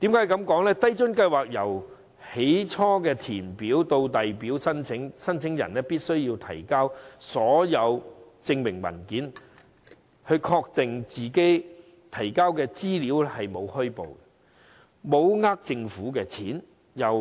低津計劃由開始填表至遞交申請的過程，申請人必須提交所有證明文件，並確認他們提交的資料沒有虛報，沒有騙取政府金錢，並提交